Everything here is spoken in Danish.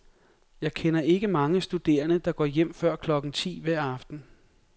Jeg kender ikke mange studerende, der går hjem før klokken ti hver aften.